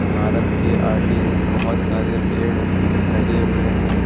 इमारत के आगे बहोत सारे पेड़ लगे हुए हैं।